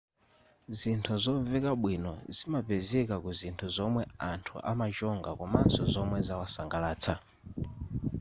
zinthu zomveka bwino zimapezeka kuzinthu zomwe anthu amachonga komanso zomwe zawasangalatsa